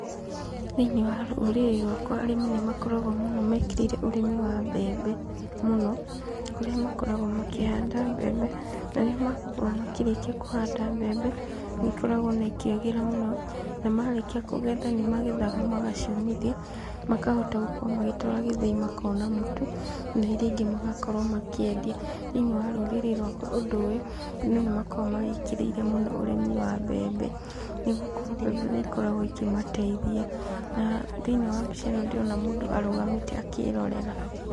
Thĩiniĩ wa rũrĩrĩ rwakwa, arĩmi nĩmakoragwo mekĩrĩire mũno ũrĩmi wa mbembe mũno, kũrĩa makoragwo makĩhanda mbembe, na rĩrĩa makorwo makĩrĩkia kũhanda mbembe nĩ ikoragwo ona ikĩagĩra mũno, na marĩkia kũgetha nĩ magethaga magaciũmithia, makahota gũkorwo magĩtwara gĩthĩi makona mũtu, na iria ingĩ magakorwo makendia, thĩiniĩ wa rũrĩrĩ rwakwa ũndũ ũyũ , andũ nĩmakoragwo mawĩkĩrĩire mũno ũrĩmi wa mbembe, nĩgũkorwo mbembe nĩ ikoragwo ikĩmateithia, na thĩiniĩ wa mbica ĩno ndĩrona mũndũ arũgamĩte akĩrorera.